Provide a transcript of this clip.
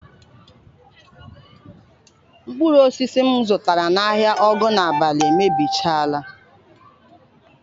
Mkpụrụ osisi m zụtara n'ahịa Ogunabali emebichaala.